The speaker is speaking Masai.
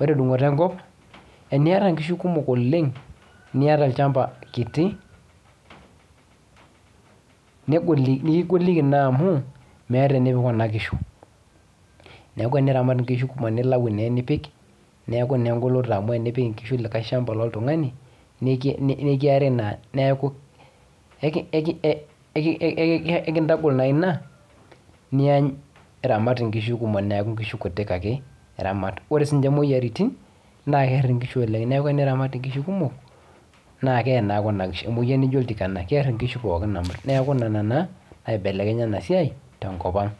Ore endung'oto enkop, eniata inkishu kumok oleng', niata olchamba kiti nekigoliki naa amu meeta enipik kuna kishu. Neeku eniramat inkishu kumok nilayu naa enipik, neeku naa engoloto amu enipik inkishu likae shamba loltung'ani, nikiari naa. Neeku eikintagol naa ina niany iramat inkishu kumok neeku inkishu kuti ake iramat. Ore siininche imwoyiaritin naa keerr inkishu oleng. Neeku eniramat inkishu kumok naa kee naa kuna kishu. Emwoyian nijo oltikana, keerr inkishu pookin amut. Neeku nena naa naibelekenya ena siai tenkopang